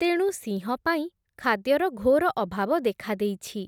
ତେଣୁ ସିଂହପାଇଁ ଖାଦ୍ୟର ଘୋର ଅଭାବ ଦେଖାଦେଇଛି ।